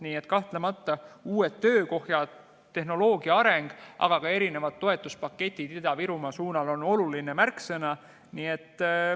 Nii et kahtlemata uued töökohad, tehnoloogia areng, aga ka erinevad toetuspaketid Ida-Virumaa suunal on olulised märksõnad.